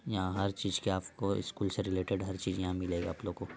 यहां हर चीज के आपको स्कूल से रिलेटेड हर चीज जहां मिलेगा आप लोगों को।